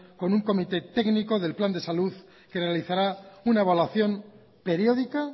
con un comité técnico del plan de salud que realizará una evaluación periódica